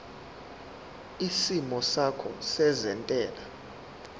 isimo sakho sezentela